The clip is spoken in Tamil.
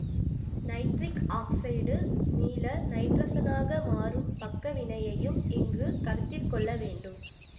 நைட்ரிக் ஆக்சைடு மீள நைட்ரசனாக மாறும் பக்க வினையையும் இங்கு கருத்திற் கொள்ள வேண்டும்